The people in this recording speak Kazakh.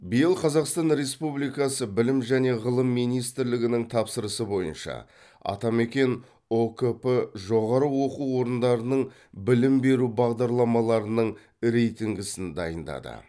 биыл қазақстан республикасы білім және ғылым министрлігінің тапсырысы бойынша атамекен ұкп жоғары оқу орындарының білім беру бағдарламаларының рейтингісін дайындады